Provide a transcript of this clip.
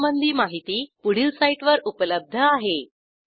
यासंबंधी माहिती पुढील साईटवर उपलब्ध आहे